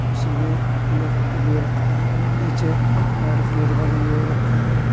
उसमें पीले कलर वो रखा है और नीचे रेड कलर का रंग हो रखा है।